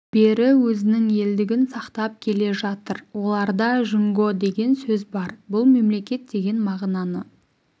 бері өзінің елдігін сақтап келе жатыр оларда жұңго деген сөз бар бұл мемлекет деген мағынаны